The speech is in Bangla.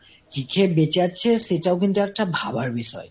কি খেয়ে বেঁচে আছে সেটাও কিন্তু একটা ভাবার বিষয়।